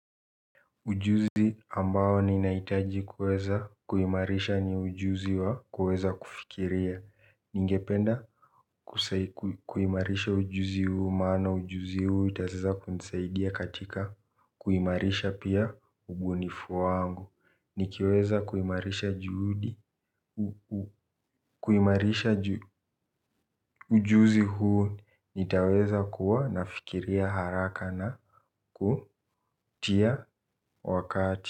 Ujuzi ambao ninahitaji kuweza kuimarisha ni ujuzi wa kuweza kufikiria. Ningependa kuimarisha ujuzi huu maana ujuzi huu utaweza kunisaidia katika kuimarisha pia ubunifu wangu. Nikiweza kuimarisha juhudi kuimarisha ujuzi huu nitaweza kuwa nafikiria haraka na kutia wakati.